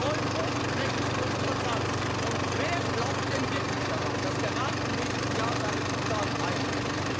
Treuebruch, Rechtsbruch, Vertragsbruch. Und wer glaubt denn wirklich daran, dass der Rat im nächsten Jahr seine Zusagen einhält?